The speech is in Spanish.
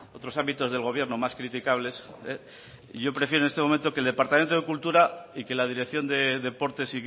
otros ámbitos del gobierno más criticables y yo prefiero en este momento que el departamento de cultura y que la dirección de deportes